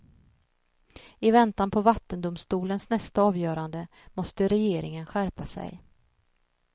I väntan på vattendomstolens nästa avgörande måste regeringen skärpa sig.